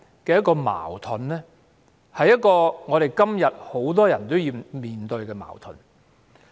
這種矛盾，今時今日亦有很多人要面對。